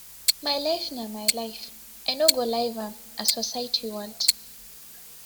my life na my life i no go live am as society want